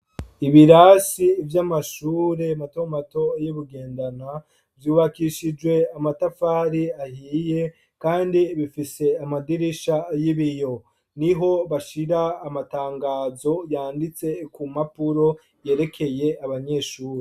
Ibirasi vyamashure mato mato yibugendana vyubakishijwe amatafari ahiye kandi bifise amadirisha yibiyo, niho bashira amatangazo yanditse kumpapuro yerekeye abanyeshure.